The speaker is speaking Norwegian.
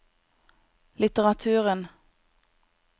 litteraturen